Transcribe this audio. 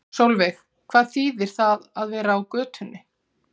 Sólveig: Hvað þýðir það að vera á götunni?